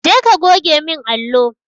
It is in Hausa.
Je ka goge min allo!